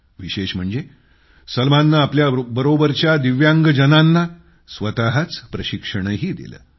विशेष म्हणजे सलमाननं आपल्या बरोबरच्या दिव्यांगजनांना स्वतःच प्रशिक्षणही दिलं